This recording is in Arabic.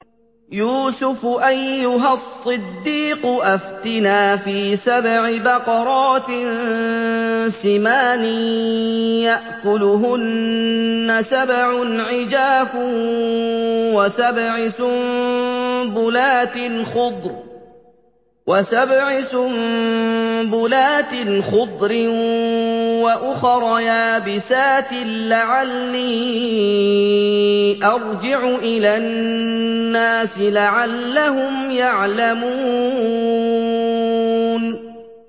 يُوسُفُ أَيُّهَا الصِّدِّيقُ أَفْتِنَا فِي سَبْعِ بَقَرَاتٍ سِمَانٍ يَأْكُلُهُنَّ سَبْعٌ عِجَافٌ وَسَبْعِ سُنبُلَاتٍ خُضْرٍ وَأُخَرَ يَابِسَاتٍ لَّعَلِّي أَرْجِعُ إِلَى النَّاسِ لَعَلَّهُمْ يَعْلَمُونَ